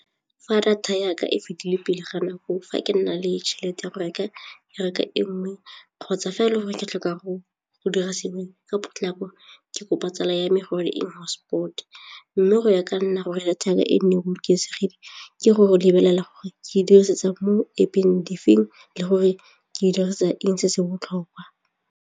Fa data ya ka e fedile pele ga nako fa ke nna le tšhelete ya go reka reka e nngwe kgotsa fa e le gore ke tlhoka go dira sengwe ka potlako ke kopa tsala ya me gore hotspot-e mme go ya ka nna gore data ya ka e nne bolokesegile ke go lebelela gore ke dirisetsa mo App-eng difeng le gore ke dirisa eng se se botlhokwa.